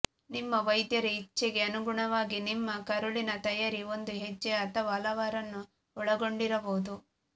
ನಿಮ್ಮ ವೈದ್ಯರ ಇಚ್ಛೆಗೆ ಅನುಗುಣವಾಗಿ ನಿಮ್ಮ ಕರುಳಿನ ತಯಾರಿ ಒಂದು ಹೆಜ್ಜೆ ಅಥವಾ ಹಲವಾರುವನ್ನು ಒಳಗೊಂಡಿರಬಹುದು